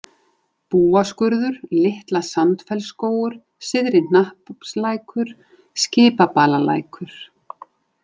Búaskurður, Litla-Sandfellsskógur, Syðri-Hnappslækur, Skipabalalækur